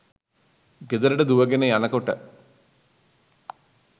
ගෙදරට දුවගෙන යනකොට